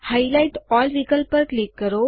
highlight all વિકલ્પ પર click કરો